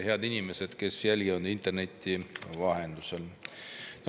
Head inimesed, kes jälgivad interneti vahendusel!